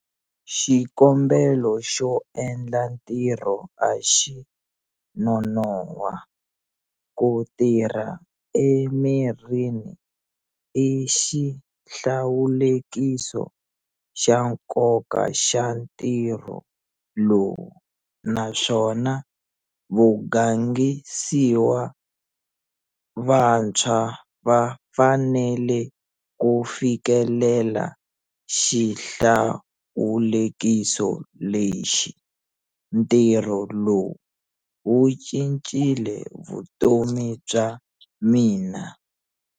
Xikombelo xo endla ntirho a xi nonohwa. Ku tiya emirini i xihlawulekiso xa nkoka xa ntirho lowu naswona vagangisiwa vantshwa va fanele ku fikelela xihlawulekiso lexi. Ntirho lowu wu cincile vutomi bya mina.